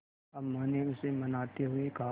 अम्मा ने उसे मनाते हुए कहा